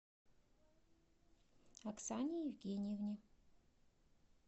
оксане евгеньевне